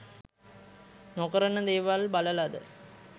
නොකරන දේවල් බලලද?